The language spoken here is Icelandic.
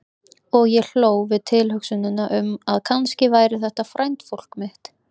Og ég hló við tilhugsunina um að kannski væri þetta frændfólk mitt.